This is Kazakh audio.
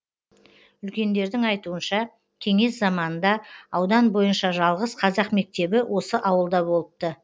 үлкендердің айтуынша кеңес заманында аудан бойынша жалғыз қазақ мектебі осы ауылда болыпты